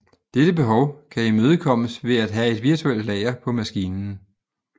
Dette behov kan imødekommes ved at have virtuelt lager på maskinen